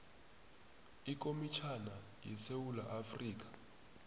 ikomitjhana yesewula afrika